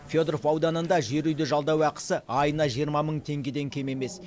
федоров ауданында жер үйді жалдау ақысы айына жиырма мың теңгеден кем емес